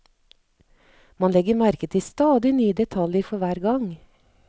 Man legger merke til stadig nye detaljer for hver gang.